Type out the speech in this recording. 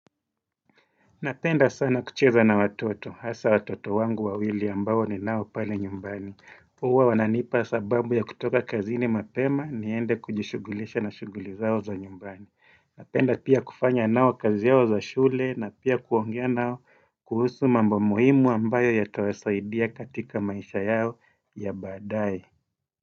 Napenda sana kucheza na watoto, hasa watoto wangu wawili ambao niao pale nyumbani. Huwa wananipa sababu ya kutoka kazini mapema niende kujishugulisha na shuguli zao za nyumbani. Napenda pia kufanya nao kazi yao za shule na pia kuongea nao kuhusu mambo muhimu ambayo yatawasaidia katika maisha yao ya badae.